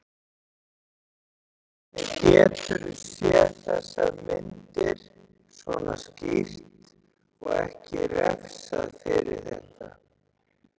Hvernig geturðu séð þessar myndir, svona skýrt, og ekki refsað fyrir þetta?